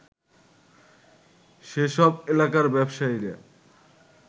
সেসব এলাকার ব্যবসায়ীরা